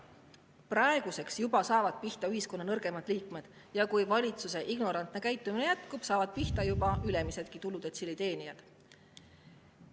Juba praegu saavad pihta ühiskonna nõrgemad liikmed ja kui valitsuse ignorantne käitumine jätkub, hakkavad pihta saama ka ülemisse tuludetsiili.